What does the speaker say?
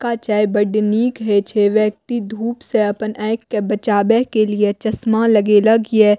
का चाय बड़ निक हेय छै व्यक्ति धुप से अपन आएख के बचावे के लिए चस्मा लगेलक ये।